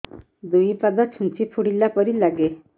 ଦୁଇ ପାଦ ଛୁଞ୍ଚି ଫୁଡିଲା ପରି ଲାଗେ